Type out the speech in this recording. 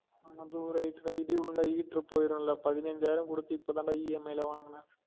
ஆமா bro right தான் இடி உழுந்த heater போயிடும் ல பதினஞ்சாயிரம் குடுத்து இப்ப தான் டா EMI ல வாங்குனன்